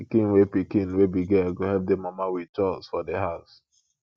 pikin wey pikin wey be girl go help di mama with chores for di house